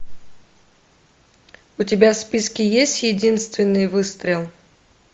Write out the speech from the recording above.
у тебя в списке есть единственный выстрел